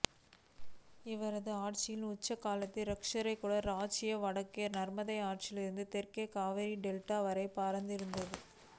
இவனது ஆட்சியின் உச்சக் காலத்தில் இராஷ்டிரகூட இராச்சியம் வடக்கே நர்மதை ஆற்றிலிருந்து தெற்கே காவிரி டெல்டா வரை பரந்திருந்தது